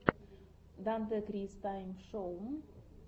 дантекрис тайм шоу